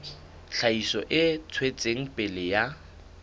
tlhahiso e tswetseng pele ya